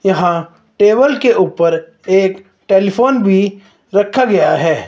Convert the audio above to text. यहा टेबल के ऊपर एक टेलीफोन भी रखा गया है।